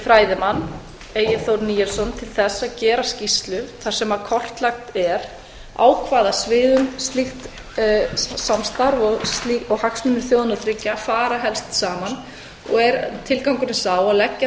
fræðimann egil þór níelsson til þess að gera skýrslu þar sem kortlagt er á hvaða sviðum slíkt samstarf og hagsmunir þjóðanna þriggja fara helst saman og er tilgangurinn sá að leggja